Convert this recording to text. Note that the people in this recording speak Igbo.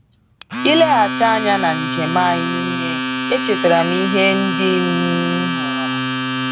Ileghachi anya na njem anyị niile, echetara m ihe ndị m hụrụ.